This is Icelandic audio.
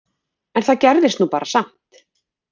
En það gerðist nú bara samt!